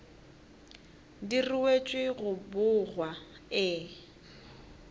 di ruetšwe go bogwa e